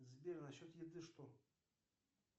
сбер на счет еды что